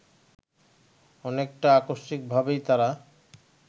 অনেকটা আকস্মিকভাবেই তারা